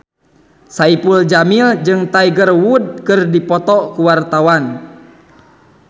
Saipul Jamil jeung Tiger Wood keur dipoto ku wartawan